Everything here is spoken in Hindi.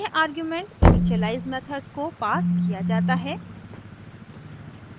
यह आर्गुमेंट इनिशियलाइज़ मेथड को पास किया जाता है